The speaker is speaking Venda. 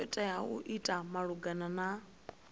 tea u ita malugana na